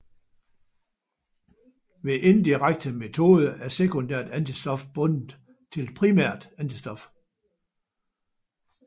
Ved indirekte metode er sekundært antistof bundet til primært antistof